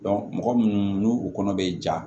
mɔgɔ munnu n'u u kɔnɔ bɛ ja